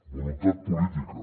voluntat política